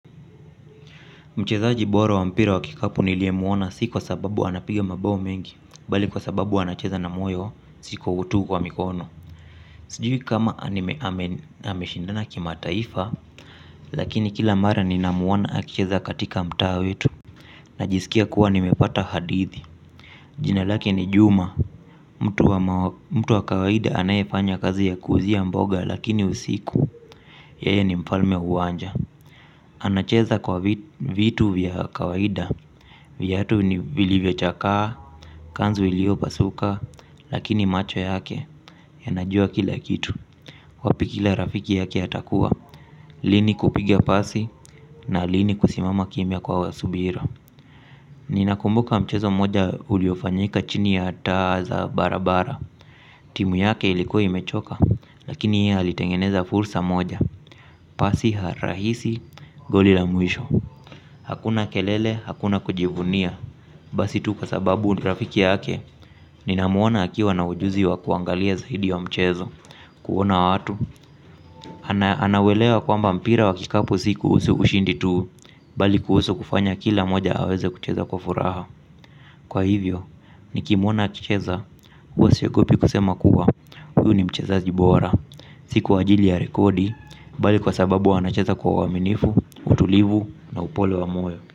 Mchezaji bora wa mpira wa kikapu nilie muona si kwa sababu anapiga mabao mengi. Bali kwa sababu anacheza na moyo siku utu kwa mikono. Sijui kama anime ameshindana kima taifa. Lakini kila mara ninamuona akicheza katika mtaa wetu. Najisikia kuwa nimepata hadithi. Jina lake ni juma. Mtu wa kawaida anaye fanya kazi ya kuuzia mboga lakini usiku yae ni mfalme uwanja. Anacheza kwa vitu vya kawaida. Viatu ni vilivyo chakaa, kanzu ilio pasuka, lakini macho yake yanajua kila kitu. Wapi ki la rafiki yake atakuwa, lini kupiga pasi na lini kusimama kimia kwa wasubira. Ninakumbuka mchezo moja uliofanyika chini ya taa za barabara. Timu yake ilikuwa imechoka, lakini yeye alitengeneza fursa moja. Pasi harahisi goli la muisho. Hakuna kelele, hakuna kujivunia. Basi tu kwa sababu ni rafiki yake, ni namuona akiwa na ujuzi wa kuangalia zaidi wa mchezo. Kuona watu, anawelewa kwamba mpira wa kikapu si kuhusu ushindi tu. Bali kuhusu kufanya kila moja aweze kucheza kwa furaha. Kwa hivyo, nikimuona akicheza, uwasiwekopi kusema kuwa huu ni mchezaji bora, si kwajili ya rekodi. Bali kwa sababu anacheza kwa waminifu, utulivu na upole wa moyo.